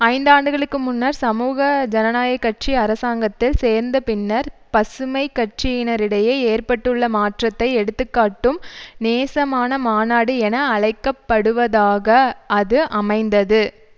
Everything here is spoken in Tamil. ஐந்தாண்டுகளுக்கு முன்னர் சமூக ஜனநாயக கட்சி அரசாங்கத்தில் சேர்ந்த பின்னர் பசுமைக்கட்சியினரிடையே ஏற்பட்டுள்ள மாற்றத்தை எடுத்துக்காட்டும் நேசமான மாநாடு என அழைக்க படுவதாக அது அமைந்தது